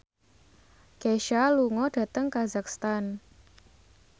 Kesha lunga dhateng kazakhstan